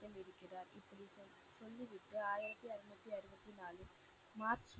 March